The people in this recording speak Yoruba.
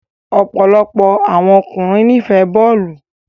Ọpọlọpọ awọn ọkunrin nifẹ bọọlu